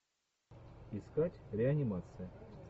искать реанимация